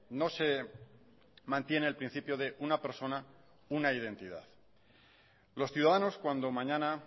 no se mantiene el principio de una persona una identidad los ciudadanos cuando mañana